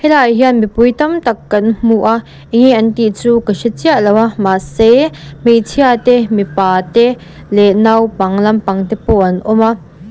helaiah hian mipui tam tak kan hmu a eng nge an tih chu ka hre chiah lo a mahse hmeichhia te mipa te leh naupang lampang te pawh an awm a.